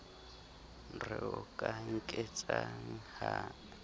re o ka nketsang ha